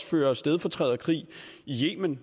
fører stedfortræderkrig i yemen